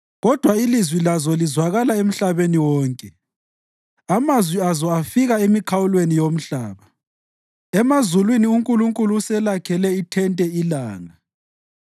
Kodwa Ilizwi lazo lizwakala emhlabeni wonke, amazwi azo afika emikhawulweni yomhlaba. Emazulwini uNkulunkulu uselakhele ithente ilanga.